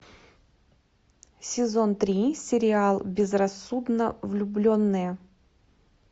сезон три сериал безрассудно влюбленные